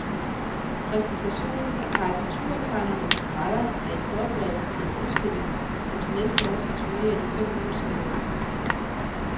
Præsentationen af karikaturtegnernes streger er en forberedelse til en udstilling som til næste år skal turnere i de fem nordiske lande.